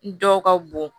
Dɔw ka bon